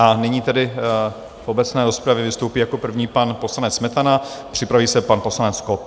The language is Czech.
A nyní tedy v obecné rozpravě vystoupí jako první pan poslanec Smetana, připraví se pan poslanec Kott.